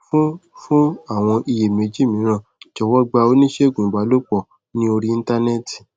fún fún àwọn iyèméjì mìíràn jọwọ gba oníṣègùn ìbálòpò ní orí íńtánéètì